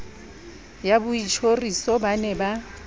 ya boitjhoriso ba ne ba